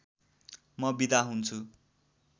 म बिदा हुन्छु